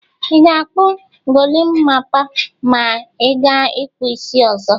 Ị ga-kpụ golimapa ma ị gaa ịkpụ isi ọzọ?